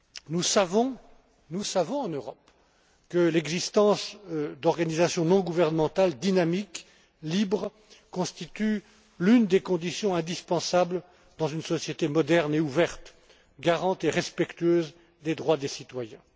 Nous savons en Europe que l'existence d'organisations non gouvernementales dynamiques libres constitue l'une des conditions indispensables dans une société moderne et ouverte, garante et respectueuse des droits des citoyens.